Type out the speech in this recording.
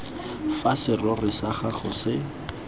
fa serori sa gago se